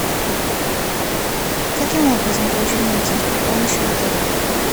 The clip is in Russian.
каким образом получить медицинскую помощь в отеле